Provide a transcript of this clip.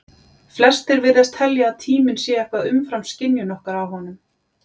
Flestir virðast telja að tíminn sé eitthvað umfram skynjun okkar á honum.